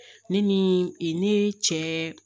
Ne ni e ne cɛ